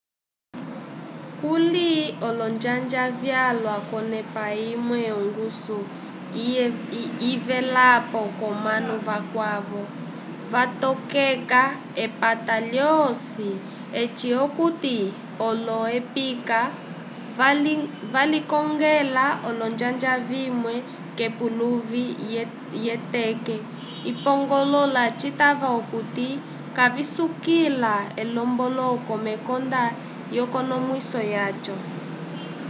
kuli olonjanja vyalwa k'onepa imwe ongusu yivelapo k'omanu vakwavo vatokeka epata lyosi eci okuti olo-ekipa valikongela olonjanja vimwe k'epuluvi lyeteke ipngoloka citava okuti kavisukila elomboloko mekonda lyekonomwiso lyaco